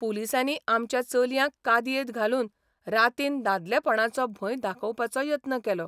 पुलिसांनी आमच्या चलयांक कादयेंत घालून रातीन 'दादलेपणाचो 'भ॑य दाखोवपाचो यत्न केलो.